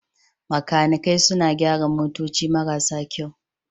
Makanikai suna gyara motoci marasa kyau.